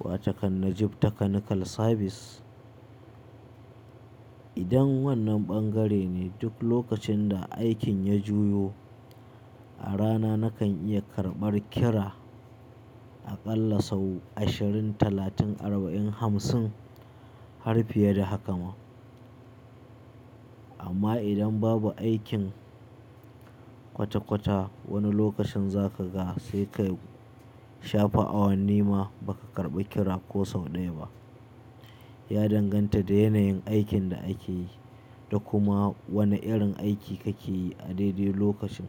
wato kan Najib Technical Service. Idan wannan ɓangare ne, duk lokacin da aikin ya juyo, a rana nakan iya karɓar kira a ƙalla sau ashirin, talatin, arba'in, hamsin har fiye da haka ma. Amma idan babu aikin kwata-kwata, wani lokacin za ka ga sai ka shafa awanni ma ba ka karɓi kira ko sau ɗaya ba. Ya danganta da yanayin aikin da ake yi da kuma wane irin aiki kake yi a daidai lokacin.